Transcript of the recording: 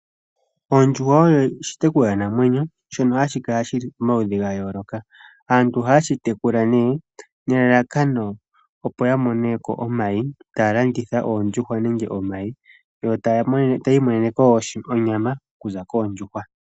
Ondjuhwa oyo oshitekulwanamwenyo shoka hashi kala shi li pomaludhi ga yooloka. Aantu ohaye shi tekula nelalakano, opo ya mone ko omayi yo taya imonene ko wo onyama, onyama oku za koondjuhwa.